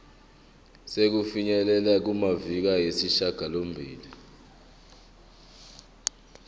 sokufinyelela kumaviki ayisishagalombili